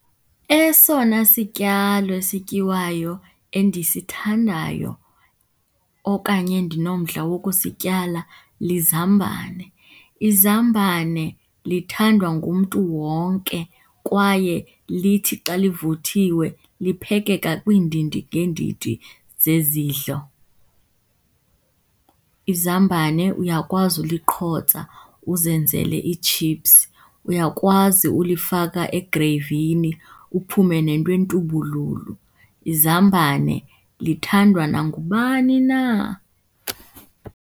Esona sityalo esityiwayo endisithandayo okanye endinomdla wokusityala lizambane. Izambane lithandwa ngumntu wonke kwaye lithi xa livuthiwe liphekeka kwiindidi ngeendidi zezidlo. Izambane uyakwazi uliqhotsa uzenzele iitshiphs, uyakwazi ulifaka egreyvini uphume nento entubululu. Izambane lithandwa nangubani na.